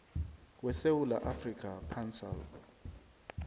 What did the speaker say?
wesewula afrika pansalb